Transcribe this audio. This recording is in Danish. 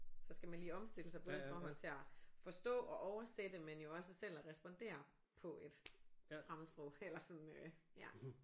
Så skal man lige opstille sig både i forhold til at forstå og oversætte men jo også selv at respondere på et fremmedsprog eller sådan øh ja